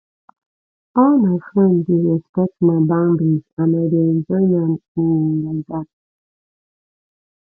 all my frend dey respect my boundaries and i dey enjoy am um like dat